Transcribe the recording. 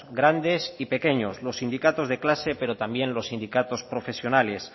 grandes y pequeños los sindicatos de clase pero también los sindicatos profesionales